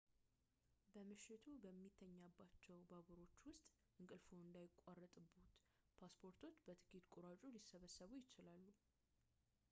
በምሽቱ በሚተኛባቸው ባቡሮች ውስጥ እንቅልፍዎ እንዳይቋረጥብዎት ፓስፖርቶች በቲኬት ቆራጩ ሊሰበሰቡ ይችላሉ